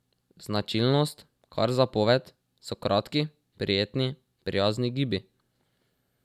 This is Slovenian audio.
Značilnost, kar zapoved, so kratki, prijetni, prijazni gibi.